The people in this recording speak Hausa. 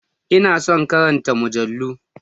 Ina son karanta mujallu